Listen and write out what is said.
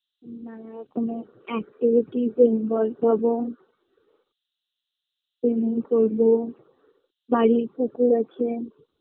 নানা রকমের activity -তে involved হবো swimming করবো বাড়ির পুকুর আছে